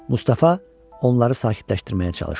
Mustafa onları sakitləşdirməyə çalışır.